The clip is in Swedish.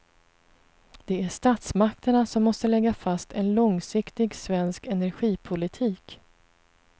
Det är statsmakterna som måste lägga fast en långsiktig svensk energipolitik.